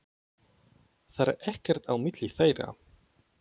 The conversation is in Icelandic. Það er ekkert á milli þeirra.